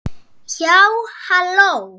Já, halló!